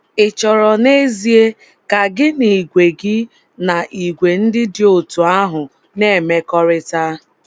Ị̀ chọrọ n’ezie ka gị na ìgwè gị na ìgwè ndị dị otú ahụ na - emekọrịta?